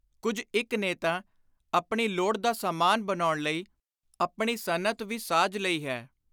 ਕੁਝ ਇਕ ਨੇ ਤਾਂ ਆਪਣੀ ਲੋੜ ਦਾ ਸਾਮਾਨ ਬਣਾਉਣ ਲਈ ਆਪਣੀ ਸਨਅਤ ਵੀ ਸਾਜ ਲਈ ਹੈ।